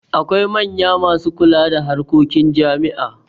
Akwai manya masu kula da harkokin jami'a.